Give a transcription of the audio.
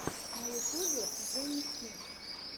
на ютубе джени смит